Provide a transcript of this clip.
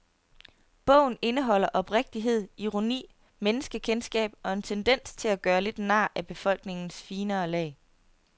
Bogen indeholder oprigtighed, ironi, menneskekendskab og en tendens til at gøre lidt nar af befolkningens finere lag.